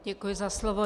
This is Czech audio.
Děkuji za slovo.